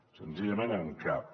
senzillament en cap